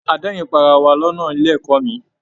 A d'ẹrin pá ará wá lọnà ilé ẹ̀kọ́ mí.